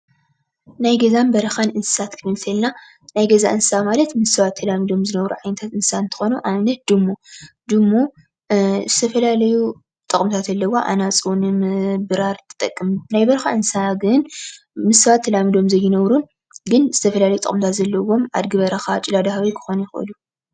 ናይ ገዛን በረኻን እንስሳ ክንበል እተለና ናይ ገዛ እንስስ ማለት ምስ ሰባት ተላሚዶም ዝነብሩ ዓይነታት እንስሳ እንትኾኑ ኣብነት ድሙ። ድሙ ዝተፈላለየ ጥቕምታት ኣለውዋ ኣናፁ ንምብራር ትጠቀም ። ናይ በረኻ እንስሳ ግን ምስ ሰባት ተላሚዶም ዘይነብሩን ግን ዝተፈላለዩ ጥቕምታት ዘለውዎምን ኣደጊ በረኻ፣ ጭላዳ ህበይ ክኾኑ ይኽእሉ።